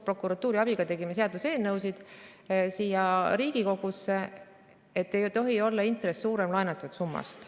Prokuratuuri abil tegime Riigikogu jaoks seaduseelnõusid, et intress ei tohiks olla suurem laenatud summast.